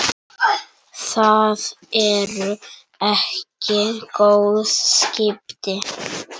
Það eru ekki góð skipti.